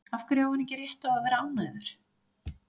Af hverju á hann ekki rétt á að vera ánægður?